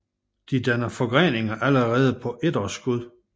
De danner forgreninger allerede på etårsskud